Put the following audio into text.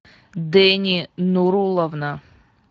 дени нуруловна